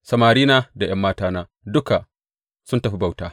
Samarina da ’yan matana duka sun tafi bauta.